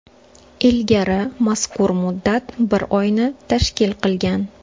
Ilgari mazkur muddat bir oyni tashkil qilgan.